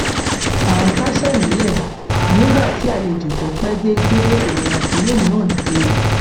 à n kásẹ nílẹ nígbà tí àlejò tó pẹ dé gbé èrò àpérò mìíràn dìde